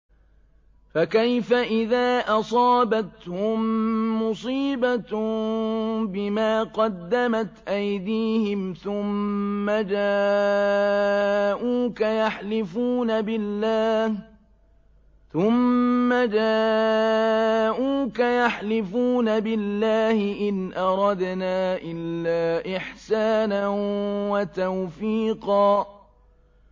فَكَيْفَ إِذَا أَصَابَتْهُم مُّصِيبَةٌ بِمَا قَدَّمَتْ أَيْدِيهِمْ ثُمَّ جَاءُوكَ يَحْلِفُونَ بِاللَّهِ إِنْ أَرَدْنَا إِلَّا إِحْسَانًا وَتَوْفِيقًا